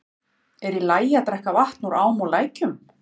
Er í lagi að drekka vatn úr ám og lækjum?